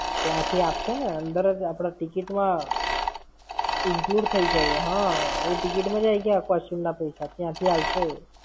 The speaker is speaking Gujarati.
ત્યાંથી આપશે ને, અંદર જ આપણા ticket માં, include થઇ ગયા. હા, એ ticket માં જ આયી ગયા costume ના પૈસા. ત્યાંથી આલસે એ.